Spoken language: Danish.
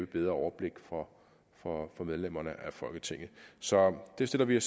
bedre overblik for for medlemmerne af folketinget så det stiller vi